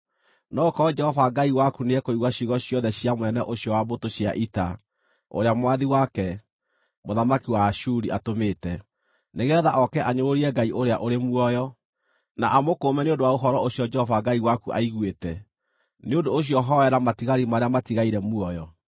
No gũkorwo Jehova Ngai waku nĩekũigua ciugo ciothe cia mũnene ũcio wa mbũtũ cia ita, ũrĩa mwathi wake, mũthamaki wa Ashuri atũmĩte, nĩgeetha oke anyũrũrie Ngai ũrĩa ũrĩ muoyo, na amũkũũme nĩ ũndũ wa ũhoro ũcio Jehova Ngai waku aiguĩte. Nĩ ũndũ ũcio hoera matigari marĩa matigaire muoyo.”